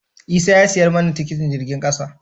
Isah ya siyar mani tikitin jirgin kasa.